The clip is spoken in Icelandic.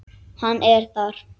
Hann er þar.